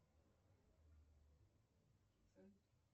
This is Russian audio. салют